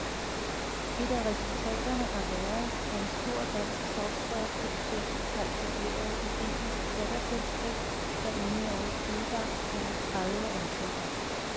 Et af resultaterne har været, at en stor dansk softwareproducent har etableret et indisk datterselskab, der inden årets udgang vil have tredive ansatte.